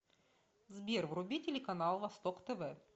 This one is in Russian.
сбер вруби телеканал восток тв